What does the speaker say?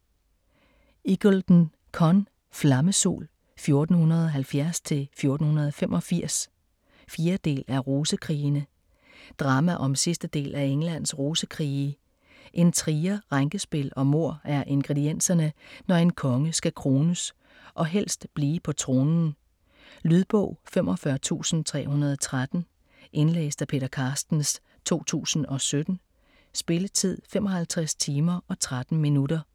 Iggulden, Conn: Flammesol: 1470-1485 4. del af Rosekrigene. Drama om sidste del af Englands Rosekrige. Intriger, rænkespil og mord er ingredienserne, når en konge skal krones - og helst blive på tronen. Lydbog 45313 Indlæst af Peter Carstens, 2017. Spilletid: 55 timer, 13 minutter.